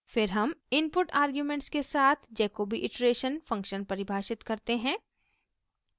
फिर हम input arguments के साथ jacobi iteration फंक्शन परिभाषित करते हैं